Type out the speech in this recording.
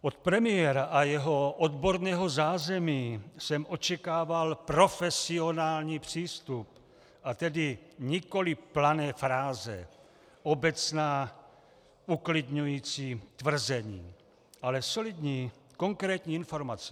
Od premiéra a jeho odborného zázemí jsem očekával profesionální přístup, a tedy nikoli plané fráze, obecná uklidňující tvrzení, ale solidní konkrétní informace.